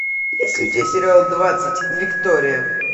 есть ли у тебя сериал двадцать виктория